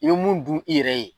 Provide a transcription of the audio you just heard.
I be mun dun i yɛrɛ ye